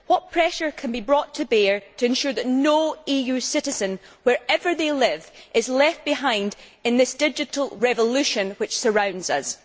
What pressure can be brought to bear to ensure that no EU citizen, wherever he or she lives, is left behind in this digital revolution which surrounds us?